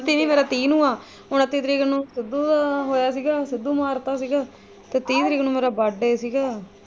ਮੇਰਾ ਤੀਹ ਨੂੰ ਆ ਉਨੱਤੀ ਤਰੀਕ ਨੂੰ ਸਿੱਧੂ ਦਾ ਹੋਇਆ ਸੀ ਗਾ ਨੂੰ ਸਿੱਧੂ ਮਾਰ ਤਾਂ ਸੀਗਾ ਤੇ ਤੀਹ ਤਰੀਕ ਨੂੰ ਮੇਰਾ birthday ਸੀ ਗਾ।